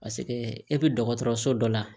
Paseke e bɛ dɔgɔtɔrɔso dɔ la